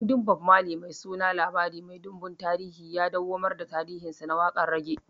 Kundin Bob Mali mai suna "labari mai ɗumbin tahiri" ya dawwamar da tarihinsa na waƙar rage